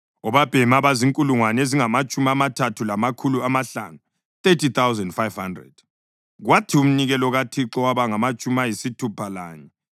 obabhemi abazinkulungwane ezingamatshumi amathathu lamakhulu amahlanu (30,500), kwathi umnikelo kaThixo waba ngamatshumi ayisithupha lanye;